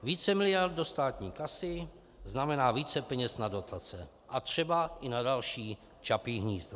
Více miliard do státní kasy znamená více peněz na dotace a třeba i na další Čapí hnízdo.